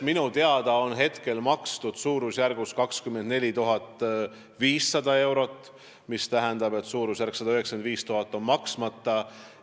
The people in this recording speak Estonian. Minu teada on seni makstud 24 500 eurot, mis tähendab, et 195 000 eurot on maksmata.